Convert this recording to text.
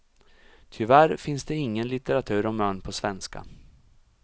Tyvärr finns det ingen litteratur om ön på svenska.